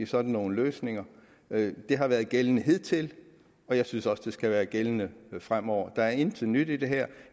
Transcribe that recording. sådan nogle løsninger det har været gældende hidtil og jeg synes også det skal være gældende fremover der er intet nyt i det her